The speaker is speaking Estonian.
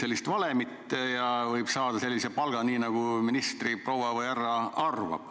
Ei mingit valemit, juht võib saada sellise palga, nagu ministriproua või -härra arvab.